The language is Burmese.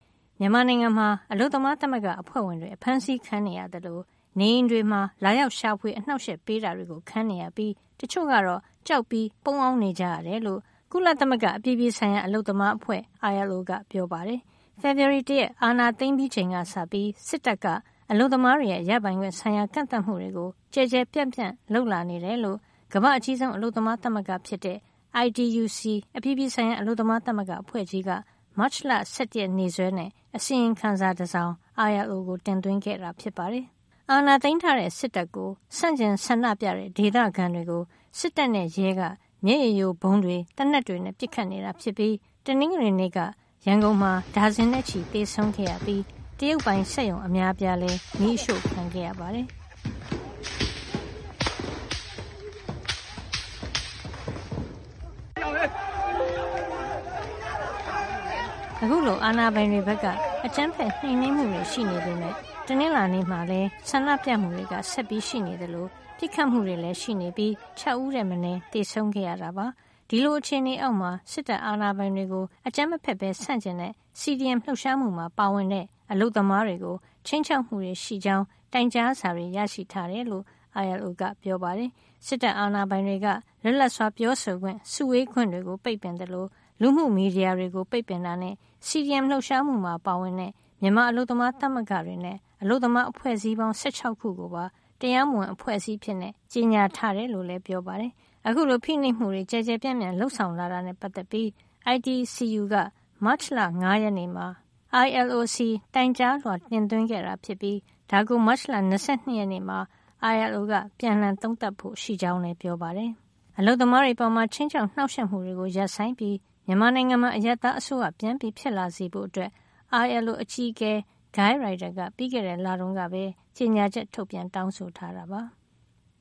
မြန်မာနိုင်ငံမှာ အလုပ်သမားသမဂ္ဂအဖွဲ့ဝင်တွေ အဖမ်းဆီးခံနေရသလို နေအိမ်တွေမှာ လာရောက်ရှာဖွေ အနှောက်အယှက်ပေးတာတွေခံနေရပြီး တချို့ကတော့ ကြောက်ပြီးပုန်းအောင်း နေကြရတယ်လို့ ကုလသမဂ္ဂ အပြည်ပြည်ဆိုင်ရာ အလုပ်သမားအဖွဲ့ကြီး ILO က ပြောပါတယ်။ ဖေဖေါ်ဝါရီတရက် အာဏာသိမ်းပြီးချိန်ကစပြီး စစ်တပ်က အလုပ်သမားတွေရဲ့ ရပိုင်ခွင့်ဆိုင်ရာ ကန့်သတ်မှုတွေ ကျယ်ကျယ်ပြန့်ပြန့် လုပ်လာနေတယ်လို့ ကမ္ဘာ့အကြီးဆုံး အလုပ်သမားသမဂ္ဂ ဖြစ်တဲ့ ITUC အပြည်ပြည်ဆိုင်ရာ အလုပ်သမားသမဂ္ဂအဖွဲ့ကြီးက မတ်လ ၁၁ ရက် နေ့စွဲနဲ့ အစီရင်ခံစာ တစောင် ILO ကိုတင်သွင်းခဲ့တာဖြစ်ပါတယ်။ အာဏာသိမ်းထားတဲ့ စစ်တပ်ကို ဆန့်ကျင်ဆန္ဒပြတဲ့ ဒေသခံတွေကို စစ်တပ်နဲ့ရဲက မျက်ရည်ယိုဗုံးတွေ သေနတ်တွေနဲ့ ပစ်ခတ်နေတာ ဖြစ်ပြီး တနင်္ဂနွေနေ့က ရန်ကုန်မှာ ဒါဇင်နဲ့ချီ သေဆုံးခဲ့ရပြီး တရုတ်ပိုင် စက်ရုံ အများအပြားလည်း မီးရှို့ခံရပါတယ်။ အခုလို အာဏာပိုင်တွေဘက်က အကြမ်းဖက် နှိမ်နင်းမှုတွေ ရှိနေပေမယ့် တနင်္လာနေ့မှာ လည်း ဆန္ဒပြမှုတွေ ဆက်ရှိနေသလို ပစ်ခတ်မှုတွေည်း ရှိနေပြီး ၆ ဦးထက်မနည်း သေဆုံးခဲ့ရတာပါ။ ဒီလို အခြေနေအောက်မှာ စစ်တပ်အာဏာပိုင်တွေကို အကြမ်းမဖက်ပဲ ဆန့်ကျင်တဲ့ CDM လှုပ်ရှားမှုမှာ ပါဝင်တဲ့ အလုပ်သမားတွေကို ခြိမ်းခြောက်မှုတွေရှိကြောင်း တိုင်ကြားစာတွေလည်း ရရှိတယ်လို့ ILO ကပြောပါတယ်။ စစ်တပ်အာဏာပိုင်တွေက လွတ်လပ်စွာပြောဆိုခွင့်၊ စုဝေးခွင့်တွေကို ပိတ်ပင်သလို လူမှုမီဒီယာတွေကို ပိတ်ပင်တာနဲ့ CDM လှုပ်ရှားမှုမှာ ပါဝင်တဲ့ မြန်မာ အလုပ်သမားသမဂ္ဂတွေနဲ့ အလုပ်သမား အဖွဲ့အစည်းပေါင်း ၁၆ ခု ကိုပါ တရားမဝင် အဖွဲ့အစည်း အဖြစ်ကြေညာခဲ့တယ်လို့ လည်း ပြောပါတယ်။ အခုလို ဖိနှိပ်မှုတွေ ကျယ်ကျယ်ပြန့်ပြန့် လုပ်ဆောင်လာတာ နဲ့ ပတ်သက်ပြီး ITCU က မတ်လ ၅ ရက်နေ့မှာ ILO ဆီ တိုင်ကြားလွှာ တင်သွင်းခဲ့တာ ဖြစ်ပြီး ဒါကို မတ်လ ၂၂ ရက်နေ့မှာ ILO က ပြန်လှန် သုံးသပ်ဖို့ ရှိကြောင်းလည်း ပြောပါတယ်။ အလုပ်သမားတွေအပေါ် ခြိမ်းခြောက် နှောက်ယှက်မှုတွေ ရပ်ဆိုင်းပြီး မြန်မာနိုင်ငံမှာ အရပ်သားအစိုးရ ပြန်ဖြစ်လာစေဖို့ ILO အကြီးအကဲ Guy Ryder က ပြီးခဲ့တဲ့ လတုန်းကပဲ ကြေညာချက် ထုတ်ပြန် တောင်းဆိုထားတာပါ။